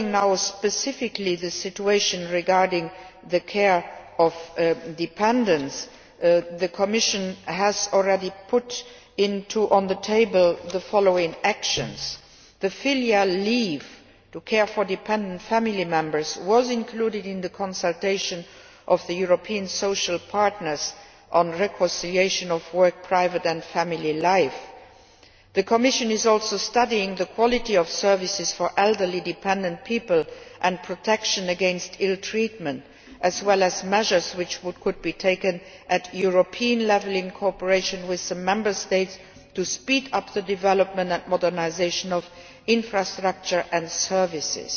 As specifically concerns the situation regarding the care of dependants, the Commission has already put the following actions on the table. Filial leave to care for dependent family members was included in the consultation of the European social partners on the reconciliation of work, private and family life. The Commission is also studying the quality of services for elderly dependent people and protection against ill treatment, as well as measures which could be taken at European level in cooperation with the Member States to speed up the development and modernisation of infrastructure and services.